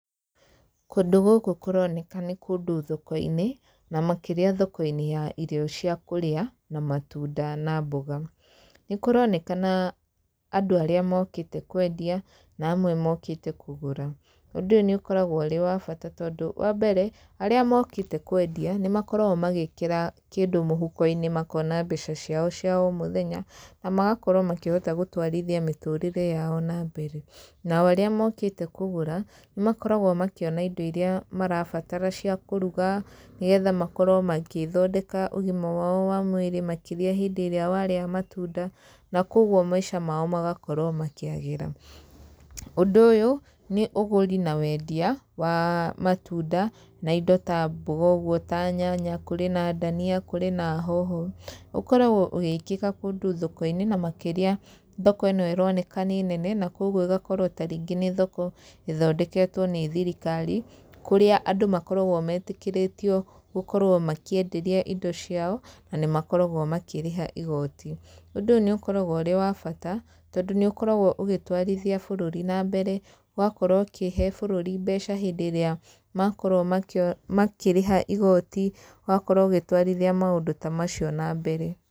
Kũndũ gũkũ kũroneka nĩ kũndũ thoko-inĩ, na makĩria thoko-inĩ ya irio cia kũrĩa na matunda na mboga, nĩ kũronekana andũ arĩa mokĩte kwendia na amwe mokĩte kũgũra. Ũndũ ũyũ nĩ ũkoragwo ũrĩ wa bata tondũ wambere, arĩa mokĩte kwendia, nĩ makoragwo magĩkĩra kĩndũ mũhuko-inĩ makona mbeca ciao cia o mũthenya, na makahota gũkorwo magĩtwarithia mĩtũrĩre yao nambere, nao arĩa mokĩte kũgũra, nĩ makoragwo makĩona indo iria marabatara cia kũruga nĩgetha makorwo magĩthondeka ũgima wao wa mwĩrĩ makĩria hindĩ ĩrĩa warĩa matunda, na koguo maica mao magakorwo makĩagĩra. Ũndũ ũyũ nĩ ũgũri na wendia wa matunda, na indo ta mboga ũguo, ta nyanya, kũrĩ na ndania, kũrĩ na hoho, ũkoragwo ũgĩkĩka kũndũ thoko-inĩ na makĩria thoko ĩno ĩroneka nĩ nene na koguo ĩgakorwo ta rĩngĩ nĩ thoko ĩthondeketwo nĩ thirikari, kũrĩa andũ makoragwo metĩkĩrĩtio gũkorwo makĩenderia indo ciao, na nĩ makoragwo makĩrĩha igooti. Ũndũ ũyũ nĩ ũkoragwo ũrĩ wa bata, tondũ nĩ ũkoragwo ũgĩtwarithia bũrũri nambere, ũgakorwo ũkĩhe bũrũri mbeca hĩndĩ ĩrĩa makorwo makĩrĩha igoti, ũgakorwo ũgĩtwarithia maũndũ ta macio nambere.